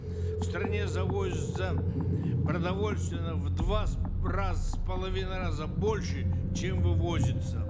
в стране завозится продовольствия на в два раза с половиной раза больше чем вывозится